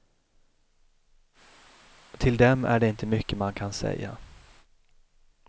Till dem är det inte mycket man kan säga.